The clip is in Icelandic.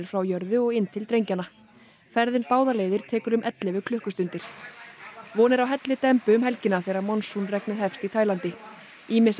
frá jörðu og inn til drengjanna ferðin báðar leiðir tekur um ellefu klukkustundir von er á hellidembu um helgina þegar regnið hefst í Tælandi ýmissa